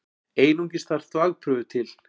Einungis þarf þvagprufu til.